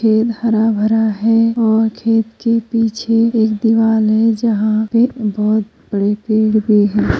खेत हरा भरा है और खेत के पीछे एक दीवाल है जहां पे बहोत बड़े पेड़ भी हैं।